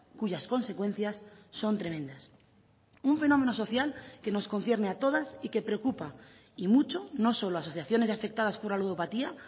cuyas consecuencias son tremendas un fenómeno social que nos concierne a todas y que preocupa y mucho no solo a asociaciones afectadas por la ludopatía